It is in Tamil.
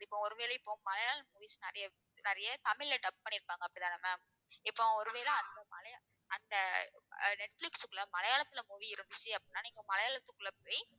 இப்போ ஒருவேளை இப்போ மலையாள movies நிறைய நிறைய தமிழ்ல dub பண்ணிருப்பாங்க அப்படித்தான ma'am? இப்போ ஒருவேளை அந்த மலைய~ அந்த அஹ் நெட்பிலிஸ்குள்ள மலையாளத்துல movie இருந்துச்சு அப்படின்னா நீங்க மலையாளத்துக்குள்ள போய்